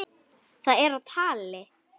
Það er á tali.